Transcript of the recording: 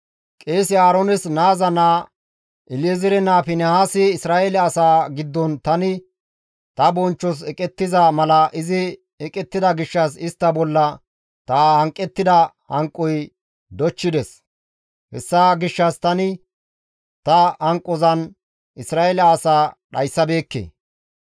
«Qeese Aaroones naaza naa, El7ezeere naa Finihaasi Isra7eele asaa giddon tani ta bonchchos eqettiza mala izi eqettida gishshas istta bolla ta hanqettida hanqoy dochchides; hessa gishshas tani ta hanqozan Isra7eele asaa dhayssabeekke.